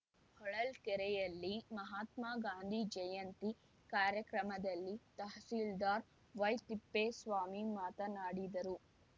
ಹೊಳಲ್ಕೆರೆಯಲ್ಲಿ ಮಹಾತ್ಮಾ ಗಾಂಧಿ ಜಯಂತಿ ಕಾರ್ಯಕ್ರಮದಲ್ಲಿ ತಹಸೀಲ್ದಾರ್‌ ವೈತಿಪ್ಪೇಸ್ವಾಮಿ ಮಾತನಾಡಿದರು